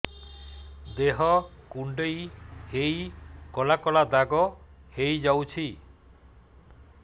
ଦେହ କୁଣ୍ଡେଇ ହେଇ କଳା କଳା ଦାଗ ହେଇଯାଉଛି